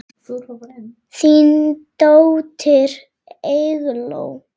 Þín dóttir, Eygló.